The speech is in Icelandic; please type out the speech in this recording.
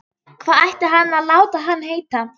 Hvað ætti hann að láta hann heita?